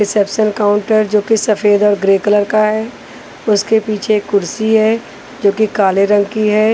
Reception counter जोकि सफेद और ग्रे कलर का है उसके पीछे कुर्सी है जोकि काले रंग की है।